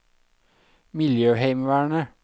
miljøheimevernet